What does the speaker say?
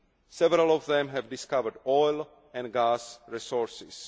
Several of them have discovered oil and gas resources.